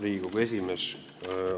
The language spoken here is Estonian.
Riigikogu esimees!